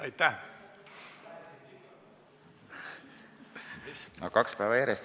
Aitäh!